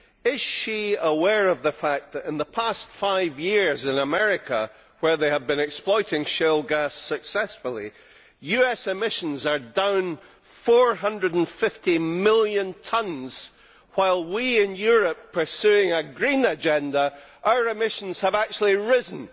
Is she aware of the fact that in the past five years in America, where they have been exploiting shale gas successfully, US emissions are down 450 million tonnes while we in Europe, pursuing a green agenda, have seen our emissions actually rise?